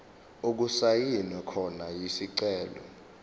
okusayinwe khona isicelo